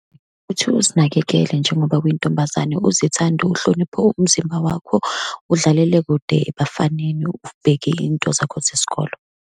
Kuthiwa uzinakekele njengoba uyintombazane, uzithande, uhloniphe umzimba wakho, udlalele kude ebafaneni, ubheke iy'nto zakho zesikolo.